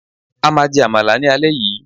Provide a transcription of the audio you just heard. A maa je Amala ni ale yii